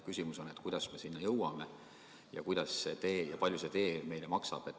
Küsimus on, kuidas me sinna jõuame ja kui palju see tee meile maksab.